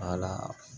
Wala